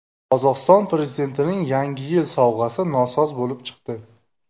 Qozog‘iston prezidentining Yangi yil sovg‘asi nosoz bo‘lib chiqdi.